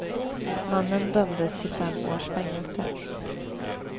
Mannen dömdes till fem års fängelse.